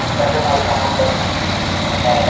আছে তাদের ভালো সম্পক আছে হ্যাঁ